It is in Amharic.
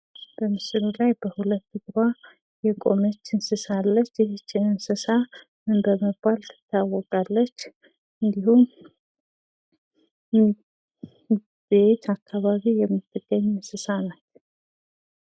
በምስሉ ላይ በሁለት እግርዋ የቆመች እንሰሳ አለች። የዚች እንስሳ ምን በመባል ትታወቃለች? እና በየት አካባቢ የምትገኝ እንስሳ ናት?